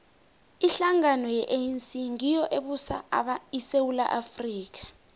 ihlangano ye anc ngiyo ebusa isewula afrika